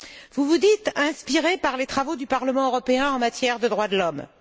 Vous vous dites inspirée par les travaux du Parlement européen en matière de droits de l'homme.